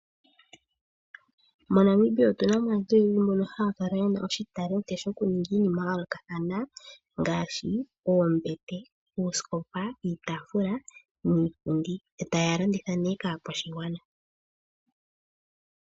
MoNamibia otu na mo aantu oyendji mbono haya kala ye na oshitalenti shokuninga iinima ya yoolokathana ngaashi oombete, oosikopa, uutaafula niipundi yo taya landitha ihe kaakwashigwana.